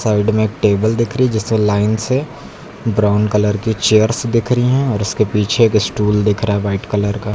Side में एक table दिख रही है जिससे लाइन से ब्राउन कलर की चेयर्स दिख रही हैं और उसके पीछे एक स्टूल दिख रहा है वाइट कलर का।